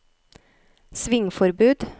svingforbud